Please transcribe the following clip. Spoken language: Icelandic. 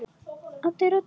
Addi reddaði því.